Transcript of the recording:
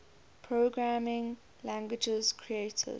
programming languages created